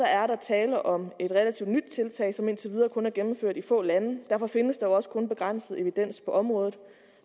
er der tale om et relativt nyt tiltag som indtil videre kun er gennemført i få lande og derfor findes der også kun begrænset evidens på området for